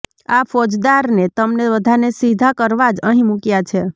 આ ફોજદાર ને તમને બધાને સીધા કરવા જ અહિં મૂકયા છે